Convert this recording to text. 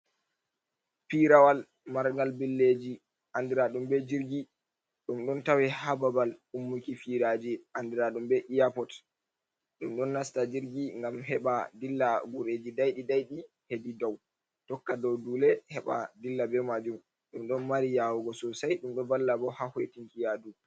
Pirawal marngal billeji andiraɗum be jirgi. Ɗum ɗon tawe haa babal ummuki firaji andiraɗum be eyapod. Ɗum ɗon nasta jirgi ngam heɓa dilla gureji daiɗi-daiɗi hedi dow tokka dou dule heɓa dilla be majum. Ɗum ɗon mari yawugo sosai ɗum ɗo valla bo ha hoitinki yaadu.